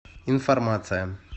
информация